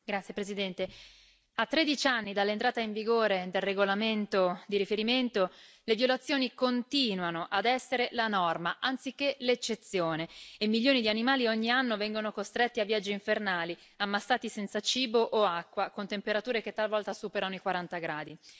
Signora Presidente, onorevoli colleghi, a tredici anni dall'entrata in vigore del regolamento di riferimento, le violazioni continuano ad essere la norma anziché l'eccezione e milioni di animali ogni anno vengono costretti a viaggi infernali, ammassati senza cibo o acqua, con temperature che talvolta superano i 40 gradi.